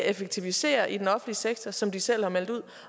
effektivisere i den offentlige sektor som de selv har meldt ud